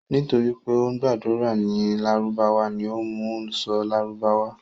Nítorí pé ó ń gbàdúrà ní lárúbáwá ni ó mú u sọ lárúbáwá.